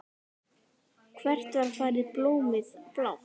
Hvert var farið blómið blátt?